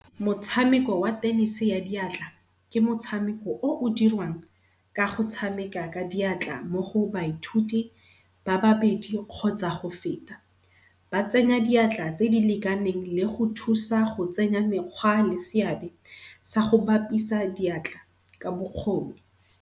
Motshameko wa tennis-e ya diatla, ke motshameko o o dirwang kago tshameka ka diatla mo go baithuti ba babedi kgotsa go feta. Ba tsenya diatla tse di lekaneng le go thusa go tsenya mekgwa le seabe sa go bapisa diatla ka bokgoni.